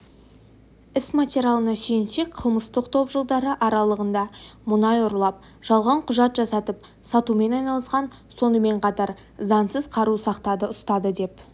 іс материалына сүйенсек қылмыстық топ жылдары аралығында мұнай ұрлап жалған құжат жасатып сатумен айналысқан сонымен қатар заңсыз қару сақтады ұстады деп